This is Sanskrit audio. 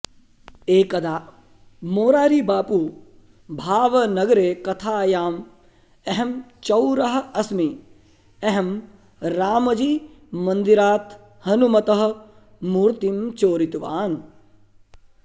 एकदा मोरारी बापू भावनगरे कथायाम् अहं चौरः अस्मि अहं रामजी मन्दिरात् हनुमतः मूर्तिं चोरितवान्